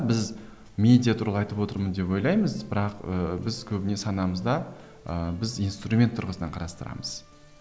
біз медиа туралы айтып отырмын деп ойлаймыз бірақ ыыы біз көбіне санамызда ыыы біз инстумент тұрғысынан қарастырамыз